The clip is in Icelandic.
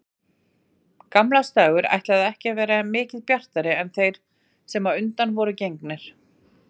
Gamlársdagur ætlaði ekki að vera mikið bjartari en þeir sem á undan voru gengnir.